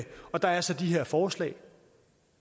og der er så de her forslag